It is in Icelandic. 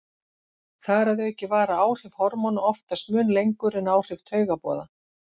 Þar að auki vara áhrif hormóna oftast mun lengur en áhrif taugaboða.